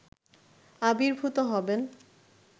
আবির্ভূত হবেন